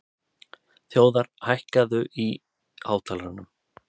Þjóðar, hækkaðu í hátalaranum.